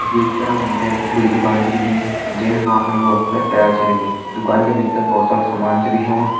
ये चित्र मा हम तें बड़ी दुकान छै दिखेणी जे की भ्वां फणी बहोत सुन्दर टाइल्स छ लगीं दुकानि का भिटर भोत सारू सामान छ दिखेणु।